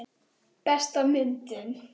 Besta myndin?